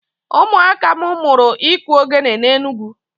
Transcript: Ụmụaka m mụrụ iku ogele n'Enugwu.